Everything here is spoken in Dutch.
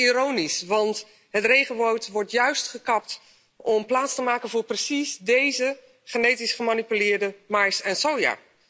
Ironisch, want het regenwoud wordt juist gekapt om plaats te maken voor precies deze genetisch gemanipuleerde mais en soja.